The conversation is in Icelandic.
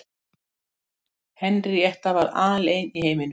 Henríetta var alein í heiminum.